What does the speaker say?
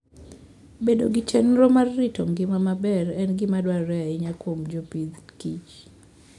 Bedo gi chenro mar rito ngima maber en gima dwarore ahinya kuom jopith kich.